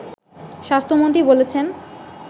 স্বাস্থ্যমন্ত্রী বলেছেন